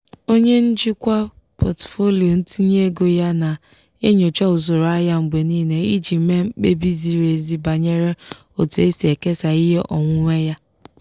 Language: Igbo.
onye njikwa pọtụfoliyo ntinye ego ya na-enyocha usoro ahịa mgbe niile iji mee mkpebi ziri ezi banyere otu e si ekesa ihe onwunwe ya.